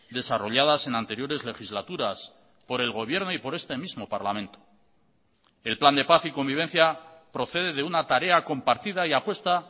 desarrolladas en anteriores legislaturas por el gobierno y por este mismo parlamento el plan de paz y convivencia procede de una tarea compartida y apuesta